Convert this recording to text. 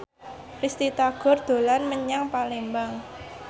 Risty Tagor dolan menyang Palembang